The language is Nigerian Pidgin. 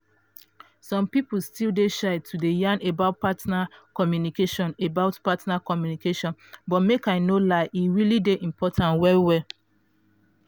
some people still dey shy to dey yan about partner communication about partner communication but make i no lie e really dey important well well.